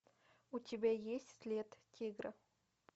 у тебя есть след тигра